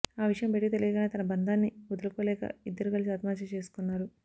ఆ విషయం బయటకు తెలియగానే తమ బంధాన్ని వదులుకోలేక ఇద్దరు కలసి ఆత్మహత్య చేసుకున్నారు